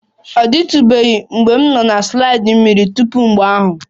Ọ dịtụbeghị mgbe m nọ na slide mmiri tupu mgbe ahụ.